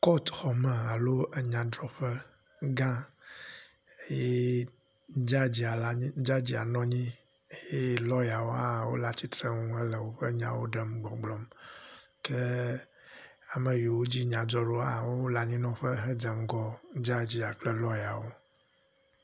Kɔt xɔme alo enyadrɔƒe gã eye jajaa nɔnyi eye lɔyawo hã wóle atsitsrenu hele wóƒe nyawo ɖem gbɔgblɔm ke ameyiwo dzi nya dzɔɖo hã wó lanyinɔƒe he dzeŋgɔ jajia kple lɔyawo